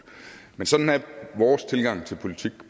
men sådan er vores tilgang til politik